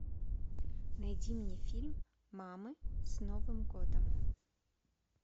найди мне фильм мамы с новым годом